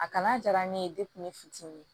A kana diya ne ye n fitinin